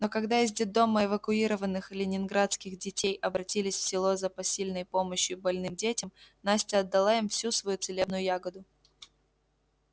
но когда из детдома эвакуированных ленинградских детей обратились в село за посильной помощью больным детям настя отдала им всю свою целебную ягоду